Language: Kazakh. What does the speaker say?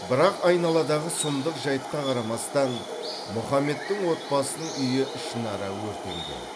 бірақ айналадағы сұмдық жайтқа қарамастан мұхаммедтің отбасының үйі ішінара өртенген